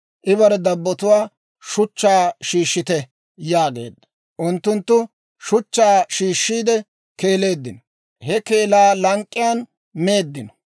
I bare dabbotuwaa, «Shuchchaa shiishshite» yaageedda; unttunttu shuchchaa shiishshiide keeleeddinno; he keelaa lank'k'iyaan meeddino.